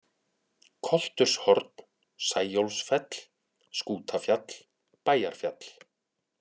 Kolturshorn, Sæólfsfell, Skútafjall, Bæjarfjall